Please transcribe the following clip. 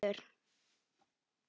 Mér fallast hendur.